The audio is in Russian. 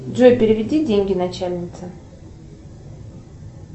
джой переведи деньги начальнице